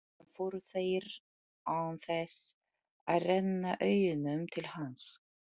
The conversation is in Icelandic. Síðan fóru þeir, án þess að renna augunum til hans.